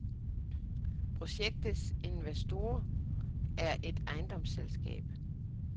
Projektets investor er et ejendomsselskab.